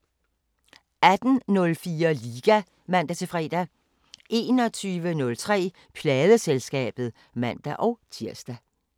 18:04: Liga (man-fre) 21:03: Pladeselskabet (man-tir)